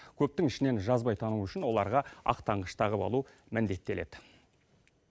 көптің ішінен жазбай тану үшін оларға ақ таңғыш тағып алу міндеттеледі